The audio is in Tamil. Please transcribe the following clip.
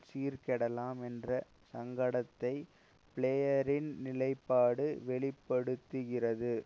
சீர்கெடலாம் என்ற சங்கடத்தை பிளேயரின் நிலைப்பாடு வெளி படுத்துகிறது